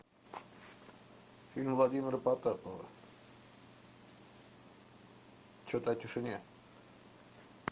фильм владимира потапова что то о тишине